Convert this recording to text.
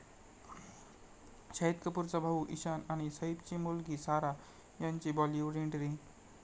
शाहिद कपूरचा भाऊ ईशान आणि सैफची मुलगी सारा यांची बॉलिवूड एंट्री